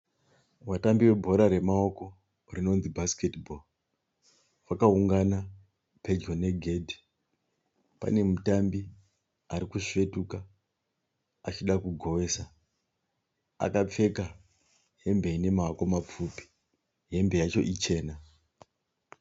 Vatambi vebhora ramaoko rinonzi bhasiketi bhoo. Vakaungana pedyo negedhi. Panemutambi arikusvetuka achida kugowesa. Akapfeka hembe inemaoko mapfupi. Hembe yacho ichena.